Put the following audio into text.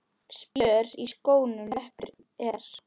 Spjör í skónum leppur er.